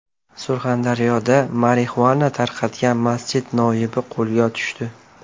Surxondaryoda marixuana tarqatgan masjid noibi qo‘lga tushdi.